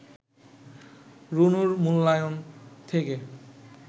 রুনুর মূল্যায়ন থেকে